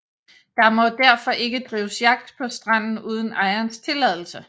Der må derfor ikke drives jagt på stranden uden ejerens tilladelse